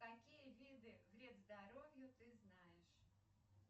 какие виды вред здоровью ты знаешь